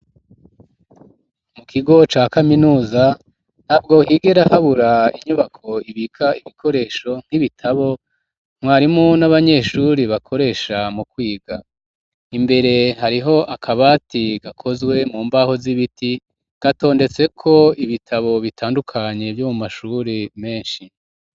Ikigo ca kaminuza ntabwo higera habura inyubako ibika ibikoresho nk'ibitabo mwarimu n'abanyeshuri bakoresha mu kwiga imbere hariho akabati gakozwe mu mbaho z'ibiti gatondetseko ibitabo bitandukanye vyo mu mashuri meshi